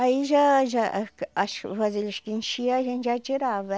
Aí já já as vasilhas que enchia a gente já tirava.